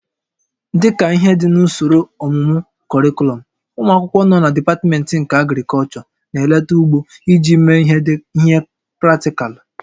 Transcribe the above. Dịka ihe dị n'usoro ọmụmụ kọrịkọlọm, ụmụ akwụkwọ nọ na dipatmentị nke Agrịkọlchọ na-eleta ugbo iji mee ihe praktịkalụ